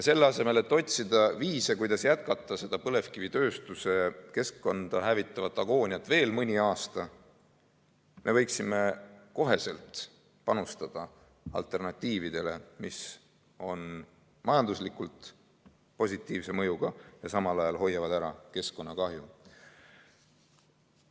Selle asemel et otsida viise, kuidas jätkata põlevkivitööstuse keskkonda hävitavat agooniat veel mõni aasta, me võiksime otsekohe panustada alternatiividele, mis on majanduslikult positiivse mõjuga ja samal ajal hoiavad ära keskkonnakahju.